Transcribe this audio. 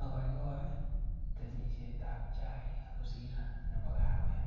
Akoikoi temisietab chaik kosir nebo kawek,